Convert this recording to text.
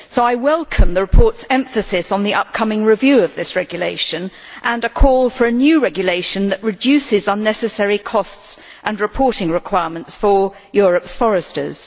So I welcome the report's emphasis on the upcoming review of that regulation and a call for a new regulation that reduces unnecessary costs and reporting requirements for Europe's foresters.